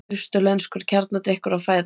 Austurlenskur kjarnadrykkur að fæðast.